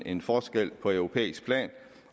en forskel på europæisk plan